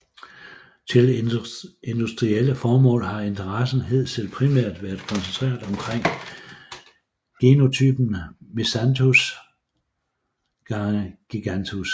Til industrielle formål har interessen hidtil primært været koncentreret omkring genotypen Miscanthus x giganteus